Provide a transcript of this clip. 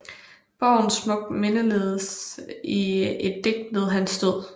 Borgen smukt mindedes i et digt ved hans død